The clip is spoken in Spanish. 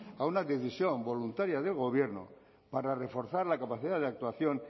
a una decisión voluntaria del gobierno para reforzar la capacidad de actuación